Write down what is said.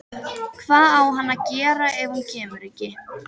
Hvað á hann að gera ef hún kemur ekki?